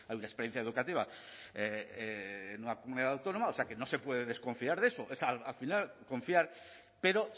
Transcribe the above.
una experiencia educativa en una comunidad autónoma o sea que no se puede desconfiar de eso al final confiar pero